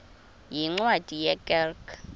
yeencwadi ye kerk